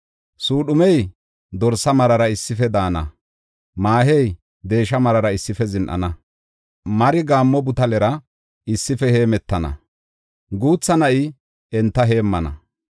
Suudhumey dorsa marara issife daana; maahey deesha marara issife zin7ana. Mari gaammo butalera issife hemetana; guutha na7i enta heemmana.